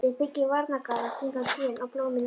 Við byggjum varnargarða kringum trén og blómin í rokinu.